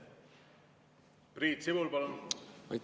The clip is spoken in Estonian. Priit Sibul, palun!